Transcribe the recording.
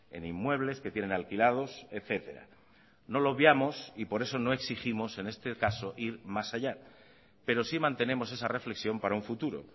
en inmuebles que tienen alquilados etcétera no lo obviamos y por eso no exigimos en este caso ir más allá pero sí mantenemos esa reflexión para un futuro